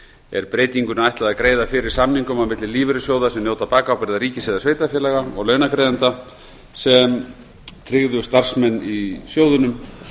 er breytingunni ætlað að greiða fyrir samningum á milli lífeyrissjóða sem njóta bakábyrgðar ríkis eða sveitarfélaga og launagreiðenda sem tryggðu starfsmenn í sjóðunum